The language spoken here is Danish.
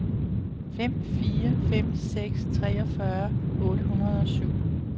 fem fire fem seks treogfyrre otte hundrede og syv